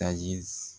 Tayi s